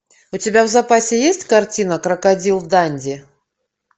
у тебя в запасе есть картина крокодил данди